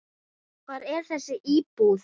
Hvar er þessi íbúð?